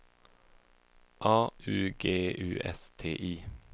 A U G U S T I